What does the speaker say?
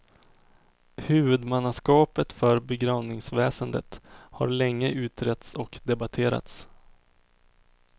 Huvudmannaskapet för begravningsväsendet har länge utretts och debatterats.